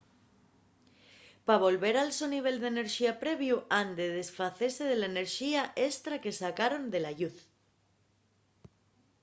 pa volver al so nivel d’enerxía previu han de desfacese de la enerxía estra que sacaron de la lluz